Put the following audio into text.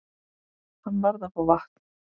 Hann varð að fá vatn.